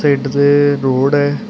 it ਜੇ road ਐ --